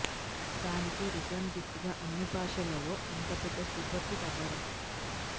దానికి return gift గా అన్ని భాషలలో ఇంత పెద్ద సూపర్ హిట్ అవడం